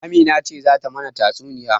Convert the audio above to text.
Amina ce zata mana tatsuniya.